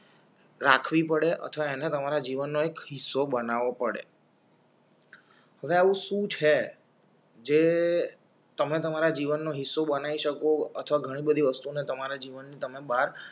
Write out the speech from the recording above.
રાખવી પડે અથવા અને તમારા જીવનનો હિસ્સો બનાવો પડે હવે આવું સુ છે જે તમે તમારા જીવનનો હિસ્સો બનાવી શકો અથવા ઘણી બધી વસ્તુ ને તમારા જીવન ને તમે બાર